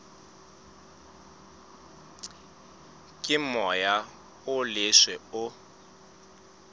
ke moya o leswe o